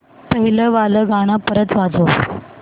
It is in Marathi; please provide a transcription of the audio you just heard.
पहिलं वालं गाणं परत वाजव